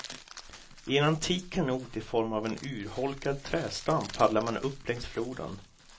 I en antik kanot i form av en urholkad trädstam paddlar man upp längs floden.